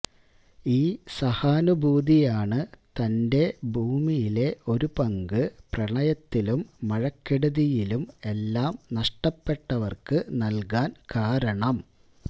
ഈ സഹാനുഭൂതിയാണ് തന്റെ ഭൂമിയിലെ ഒരു പങ്ക് പ്രളയത്തിലും മഴക്കെടുതിയിലും എല്ലാം നഷ്ടപ്പെട്ടവർക്ക് നൽകാൻ കാരണം